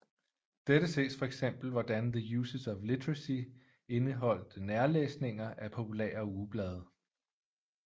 Dette ses fx hvordan The Uses of Literacy indeholdte nærlæsninger af populære ugeblade